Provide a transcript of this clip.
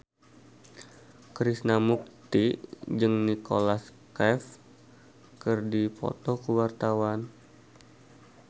Krishna Mukti jeung Nicholas Cafe keur dipoto ku wartawan